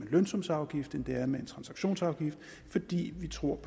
lønsumsafgift end det er med en transaktionsskat fordi vi tror